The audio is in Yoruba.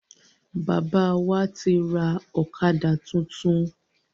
Bàbá wá ti rà ọ̀kadà tuntun